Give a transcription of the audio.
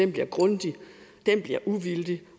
bliver grundig at den bliver uvildig